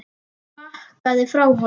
Hún bakkaði frá honum.